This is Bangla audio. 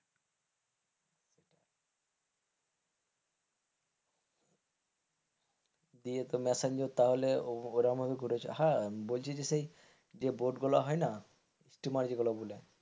নিয়ে মেসেঞ্জার তাহলে ওরকম ঘুরে এসো হা যে বোট গুলো হয় না স্টিমার যেগুলো বলে,